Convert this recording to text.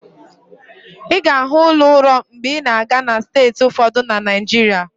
Ị ga-ahụ ụlọ ụrọ mgbe ị na-aga na steeti ụfọdụ na Naijiria.